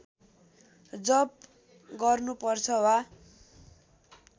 जप गर्नुपर्छ वा